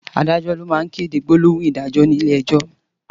Àdájò ló má n kédé gbólóhún idàjó ni ilé èjò